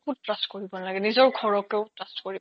trust কৰিব নালাগে নিজৰ ঘৰকো trust কৰিব নালাগে